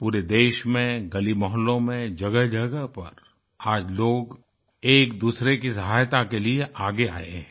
पूरे देश में गलीमोहल्लों में जगहजगह पर आज लोग एकदूसरे की सहायता के लिए आगे आये हैं